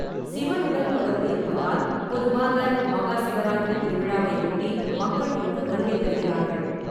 சிவனுடன் தொடர்பு இருப்பதால், பொதுவாக மகா சிவராத்திரி திருவிழாவை ஒட்டி மக்கள் இங்கு வருகை தருகிறார்கள்.